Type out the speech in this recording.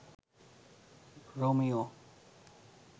Romeo